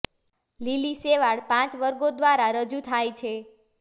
લીલી શેવાળ પાંચ વર્ગો દ્વારા રજૂ થાય છે